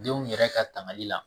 Denw yɛrɛ ka tagli la